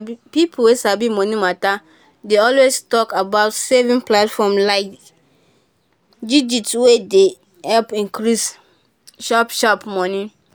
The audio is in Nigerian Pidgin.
people wey sabi money matter dey always talk about saving platform like digit wey dey help increase sharp-sharp money